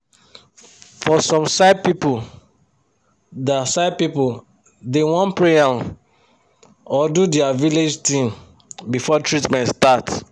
for some side pipu da side pipu da want pray um or do dia village tin before treatment start